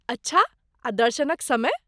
अच्छा, आ दर्शनक समय?